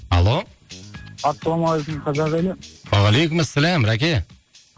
алло ассалаумағалейкум қазақ елі уағалейкумассалам рәке